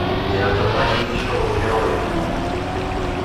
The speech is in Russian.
у тебя в запасе есть шоу герои